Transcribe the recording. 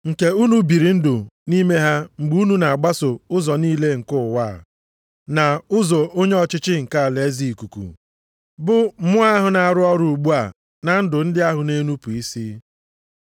Nke unu biri ndụ nʼime ha mgbe unu na-agbaso ụzọ niile nke ụwa a, na ụzọ onye ọchịchị nke alaeze ikuku, bụ mmụọ ahụ na-arụ ọrụ ugbu a na ndụ ndị ahụ na-enupu isi.